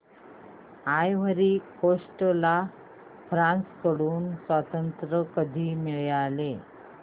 ivory Coast ला France कडून स्वातंत्र्य कधी मिळाले